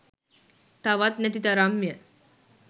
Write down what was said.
තවත් නැති තරම්ය.